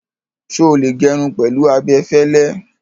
Ṣé o lè gẹrun pẹ̀lú abẹ fẹ́lẹ́?